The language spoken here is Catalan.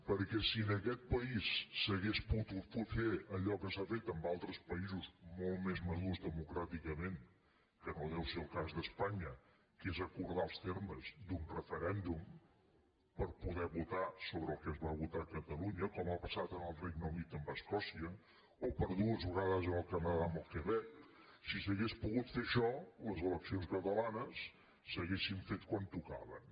perquè si en aquest país s’hagués pogut fer allò que s’ha fet en altres pa·ïsos molt més madurs democràticament que no deu ser el cas d’espanya que és acordar els termes d’un referèndum per poder votar sobre el que es va votar a catalunya com ha passat en el regne unit amb escò·cia o per dues vegades en el canadà amb el quebec si s’hagués pogut fer això les eleccions catalanes s’hau·rien fet quan tocaven